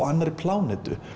annarri plánetu